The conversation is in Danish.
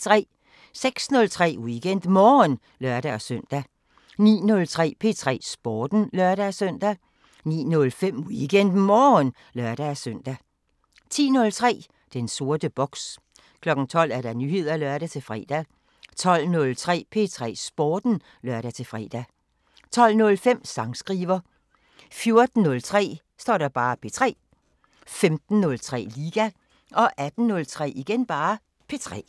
06:03: WeekendMorgen (lør-søn) 09:03: P3 Sporten (lør-søn) 09:05: WeekendMorgen (lør-søn) 10:03: Den sorte boks 12:00: Nyheder (lør-fre) 12:03: P3 Sporten (lør-fre) 12:05: Sangskriver 14:03: P3 15:03: Liga 18:03: P3